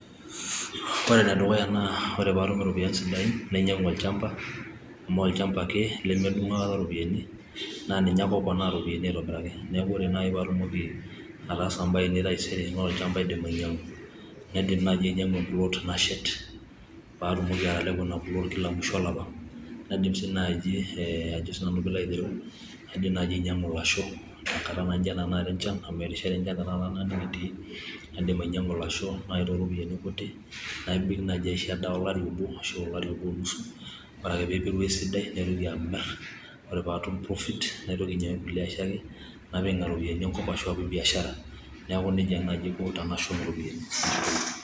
ore enedukuya naa ore pee atum iropiyiani sidain nainyiang'u olchamba amu ninye lemedung aikata iropiyiani, naaninye ake oponaa iropiyiani ,naa ninye ake oponaa iropiyiani aitobiraki, neeku ore naaji pee atumoki ataasa ibaa ainei etaisere naa olchamba aidim ainyang'u, naidim naaji ainyang'u e plot nashet paa atumoki atalepo ina plot kila musho olapa, naidim naaji anyiang'u ilasho enkata naijo ena amu erishata tenakata ena enchan, naidim ainyang'u ilasho too iropiyiani kutik, naisho edaa olari obo onusu, ore ake pee epiru esidai naitoki amir ore pee atum profit, naitoki anyiang'u kulie asho napik nena kulie ropiyiani enkop ashu anyiang'u kulie asho.